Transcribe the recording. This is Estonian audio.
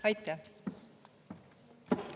Aitäh!